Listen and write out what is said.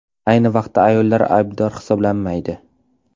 Ayni vaqtda ayollar aybdor hisoblanmaydi.